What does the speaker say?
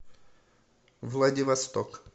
владивосток